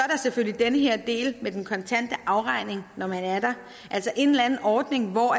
selvfølgelig den her del med den kontante afregning når man er der altså en eller anden ordning hvor